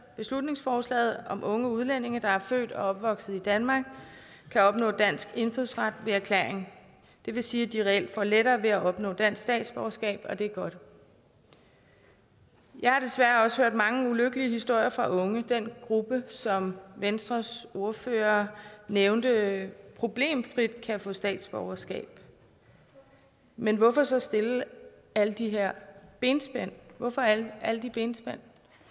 beslutningsforslaget om at unge udlændinge der er født og opvokset i danmark kan opnå dansk indfødsret ved erklæring det vil sige at de reelt får lettere ved at opnå dansk statsborgerskab og det er godt jeg har desværre også hørt mange ulykkelige historier fra unge den gruppe som venstres ordfører nævnte problemfrit kan få statsborgerskab men hvorfor så stille alle de her benspænd hvorfor alle de benspænd